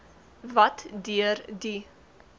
wat deur die